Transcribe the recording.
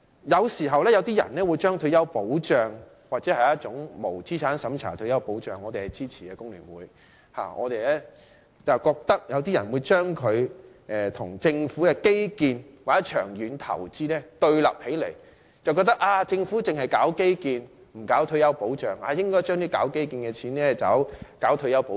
有些人將退休保障，或者無資產審查的退休保障——工聯會對此是支持的——跟政府的基建或長遠投資對立起來，覺得政府只做基建，不做退休保障，應該把做基建的款項用來做退休保障。